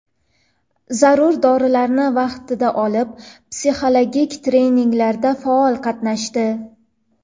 Zarur dorilarni vaqtida olib, psixologik treninglarda faol qatnashdi.